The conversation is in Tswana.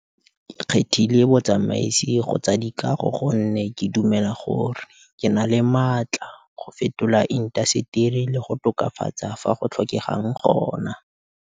Ke kgethile botsamaisi go tsa dikago gonne ke dumela gore ke na le matla go fetola intaseteri le go tokafatsa fa go tlhokegang gona.